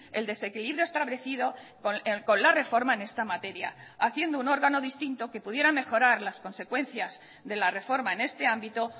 el desequilibrio establecido con la reforma en esta materia haciendo un órgano distinto que pudiera mejorar las consecuencias de la reforma en este ámbito